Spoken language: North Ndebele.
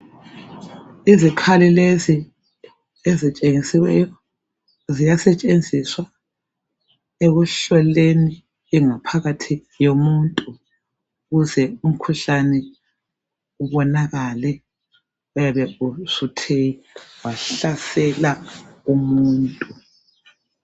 Izikhali lezi ezitshengisiweyo ziyasetshenziswa ekuhloleni ingaphakathi yomuntu ukuze umkhuhlane ubonakale oyabe usuthe wahlasela umuntu.